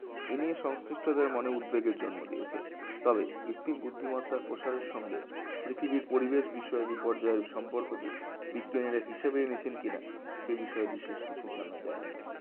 এই নিয়ে সংশ্লিষ্টদের মনে উদ্বেগের জন্ম দিয়েছে তবে কৃত্রিম বুদ্ধিমত্তা প্রসারের সঙ্গে পৃথিবীর পরিবেশ বিষয় বিপর্যয়ের সম্পর্কটি বিজ্ঞানীরা হিসেবে এনেছেন কিনা সেই বিষয়ে বিশেষ কিছু জানা যায়নি